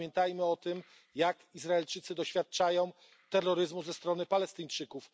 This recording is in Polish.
Pamiętajmy o tym, że Izraelczycy doświadczają terroryzmu ze strony Palestyńczyków.